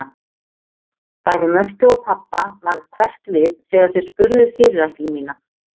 Bæði Mörtu og pabba varð hverft við þegar þau spurðu fyrirætlun mína.